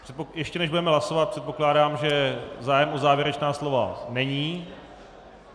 Ještě než budeme hlasovat, předpokládám, že zájem o závěrečná slova není.